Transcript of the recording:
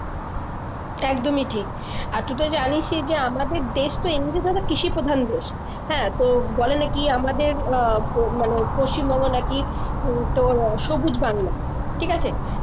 একদমই ঠিক আর তুইতো জানিসই যে আমাদের দেশ তো এমনিতেই কৃষি প্রধান দেশ হ্যাঁ তো বলে নাকি আমাদের আহ প মানে পশ্চিমবঙ্গ নাকি উম তোর সবুজ বাংলা ঠিক আছে